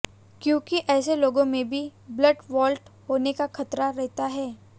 क्योंकि ऐसे लोगों में भी ब्लड क्लॉट होने का खतरा रहता है